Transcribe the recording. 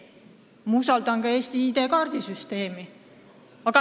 Ma usaldan ka Eesti ID-kaardi süsteemi.